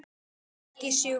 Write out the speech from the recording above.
Ekki sjúkt.